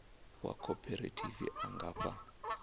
wa khophorethivi a nga fha